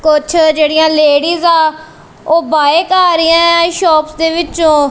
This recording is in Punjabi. ਕੁੱਛ ਜਿਹੜੀਆਂ ਲੇਡੀਜ਼ ਹਾਂ ਓਹ ਬਾਯ ਕਰ ਰਹੀਆਂ ਸ਼ੌਪਸ ਦੇ ਵਿਚੋਂ।